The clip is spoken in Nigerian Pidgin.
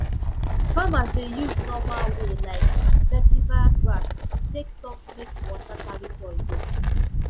farmers dey use normal way like vetiver grass to take stop make water carry soil go